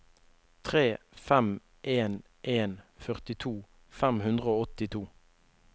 tre fem en en førtito fem hundre og åttito